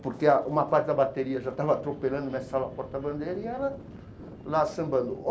Porque uma parte da bateria já estava atropelando a porta-bandeira, e ela lá sambando.